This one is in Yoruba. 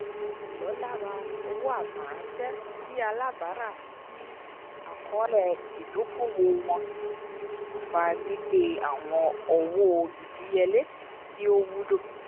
ìlọ́lára owo atẹ rán ṣẹ ti alábara si akọọlẹ idoko-owo wọn fà gbígbé awọn owó ìdíyelé tí o wúlò